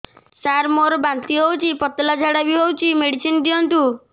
ସାର ମୋର ବାନ୍ତି ହଉଚି ପତଲା ଝାଡା ବି ହଉଚି ମେଡିସିନ ଦିଅନ୍ତୁ